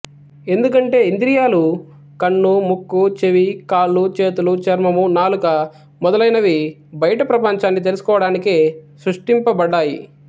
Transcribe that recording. ఎందుకంటే ఇంద్రియాలు కన్ను ముక్కు చెవి కాళ్ళు చేతులు చర్మము నాలుక మొదలగునవి బయటి ప్రపంచాన్ని తెలుసుకోవడానికే సృష్టింపబడ్డాయి